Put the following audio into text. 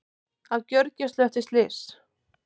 Á gjörgæslu eftir slys